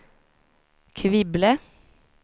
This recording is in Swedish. Kvibille